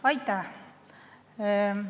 Aitäh!